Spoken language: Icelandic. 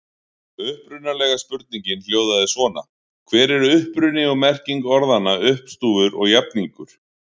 Upprunalega spurningin hljóðaði svona: Hver er uppruni og merking orðanna uppstúfur og jafningur?